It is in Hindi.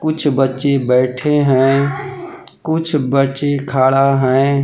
कुछ बच्ची बैठे हैं कुछ बच्ची खड़ा हैं।